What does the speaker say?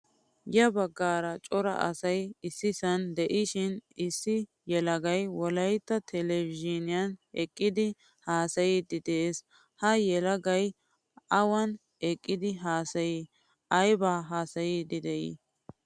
Ya baggaara cora asay issisan de'ishin issi yelagay wolaytta televizhiniyan eqqidi haasayidi de'ees. Ha yelagay awan eqqidi haasayi? Ayba haasayidi de'i?